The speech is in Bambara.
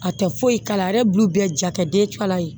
A tɛ foyi kala a yɛrɛ b'u bɛɛ ja kɛ dencɛ kala ye